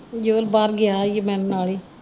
ਤੇ ਜੋਲ ਬਾਹਰ ਗਿਆ ਹੀ ਮੇਰੇ ਨਾਲ ਹੀ।